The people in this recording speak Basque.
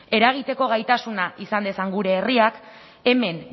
eragiteko gaitasuna izan dezan gure herriak hemen